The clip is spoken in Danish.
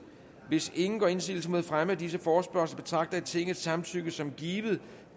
hvis ingen gør indsigelse mod fremme af disse forespørgsler betragter jeg tingets samtykke som givet